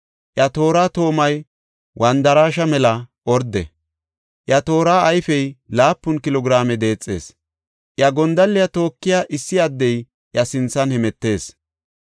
Iya toora toomay wandaraashe mela orde; iya toora ayfey laapun kilo giraame deexees; iya gondalliya tookiya issi addey iya sinthan hemetees.